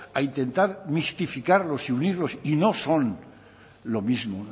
a intentar justificarlos y unirlos y no son lo mismo